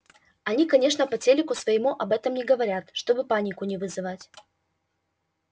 они конечно по телеку своему об этом не говорят чтобы панику не вызывать